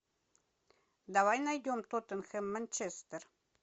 давай найдем тоттенхэм манчестер